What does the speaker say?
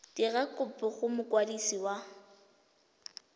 dira kopo go mokwadisi wa